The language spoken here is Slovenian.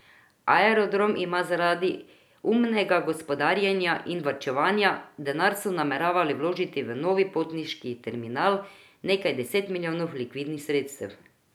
Aerodrom ima zaradi umnega gospodarjenja in varčevanja, denar so nameravali vložiti v nov potniški terminal, nekaj deset milijonov likvidnih sredstev.